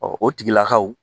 o tigilakaw